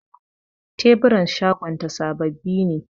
Teburan shagonta sababbi ne.